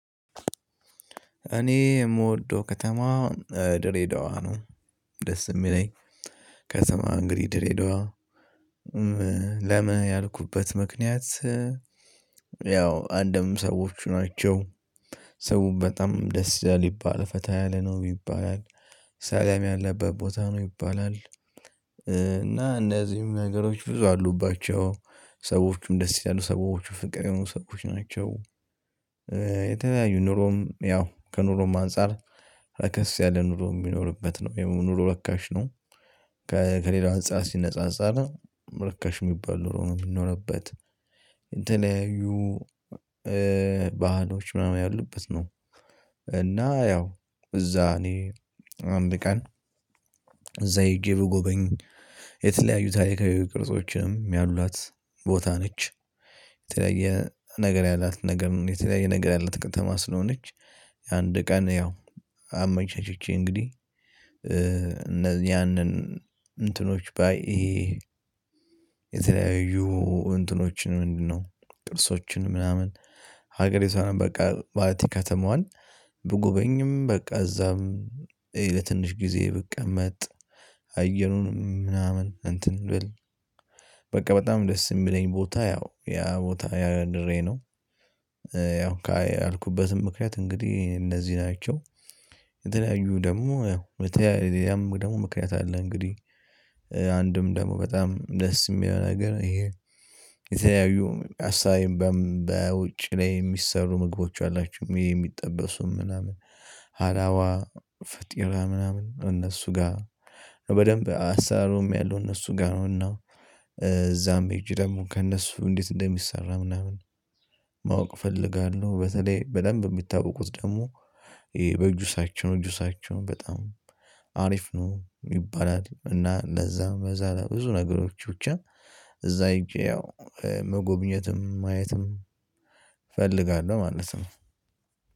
እኔ የምወደው ከተማ ድሬዳዋ ነው። ደስ የሚለኝ ከተማ እንግዲህ ድሬዳዋ። ለምን ያልኩበት ምክንያት። ያው አንድም ሰዎቹ ናቸው ሰው በጣም ደስ ይላል ይባላል ፈተና ያለ ነው ይባላል ሰላም ያለበት ቦታ ነው ይባላል። እና እነዚህም ነገሮች ብዙ አሉባቸው ሰዎችም ደስ ያሉ ሰዎችም ፍቅር የሆኑ ሰዎች ናቸው። የተለያዩ ኑሮም ያው ከኑሮም አንፃር ረከስ ያለ ኑሮ የሚኖርበት ነው ይህ ኑሮ ርካሽ ነው። ከሌላ አንፃር ሲነጻጸር ርካሽ የሚባል ኑሮ ነው የሚኖርበት። የተለያዩ ባህሎች ምናምን ያሉበት ነው። እና ያው እዛ እኔ አንድ ቀን እዛ ሄጄ ብጎበኝ የተለያዩ ታሪካዊ ቅርጾችም ያሏት ቦታ ነች። የተለያየ ነገር ያላት ነገር የተለያየ ነገር ያላት ከተማ ስለሆነች። አንድ ቀን ያው አመቻችቼ እንግዲህ ያንን እንትኖች ባይ ይሄ የተለያዩ እንትኖችን ምንድነው? ቅርሶችን ምናምን ሀገሬ ሰው ነው በቃ ማለቴ ከተማዋን ብጎበኝ በቃ ከዛም ለትንሽ ጊዜ ብቀመጥ። አየኑን ምናምን እንትን በቃ በጣም ደስ የሚለኝ ቦታ ያው ያ ቦታ ያድሬ ነው። ያው ያልኩበትም ምክንያት እንግዲህ እነዚህ ናቸው። የተለያዩ ደግሞ ያም ደግሞ ምክንያት አለ እንግዲህ። አንድም ደግሞ በጣም ደስ የሚለው ነገር ይሄ የተለያዩ ሀሳቤም በውጭ ላይ የሚሰሩ ምግቦች አላቸው የሚጠበሱም ምናምን። ሀላዋ ፈጢራ ምናምን እነሱ ጋር በደንብ አሰራሩም ያለው እነሱ ጋር ነው። እና እዛም ሄጄ ደግሞ ከእነሱ እንዴት እንደሚሰራ ምናምን። ማወቅ እፈልጋለሁ። በተለይ በደንብ የሚታወቁት ደግሞ በጁሳቸዉም ጁሳቸውም በጣም ሀሪፍ ነው ይባላል። እና እንደዛም በዛ ላይ ብዙ ነገሮች ብቻ እዛ ሂጄ ያው መጎብኘትም ማየትም እፈልጋለሁ ማለት ነው።